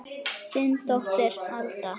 Þín dóttir Alda.